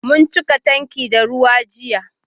Mun cika tanki da ruwa jiya